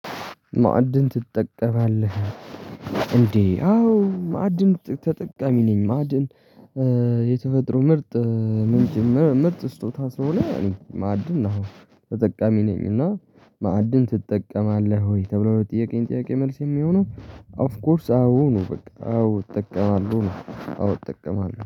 ማዕድን ትጠቀማለህ እንዴ? አዎ ማዕድን ተጠቃሚ ነኝ። ማዕድን የተፈጥሮ ምርጥ ምንጭ ምርጥ ስጦታ ስለሆነ ማዕድን አዎ ተጠቃሚ ነኝ። እና ማዕድን ትጠቀማለህ ወይ? ተብሎ ለጠየቀኝ ጥያቄ መልስ የሚሆነው ኦፍ ኮርስ አዎ ነው። በቃ አዎ እጠቀማለሁ ነው። አዎ እጠቀማለሁ